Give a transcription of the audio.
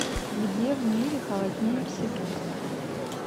где в мире холоднее всего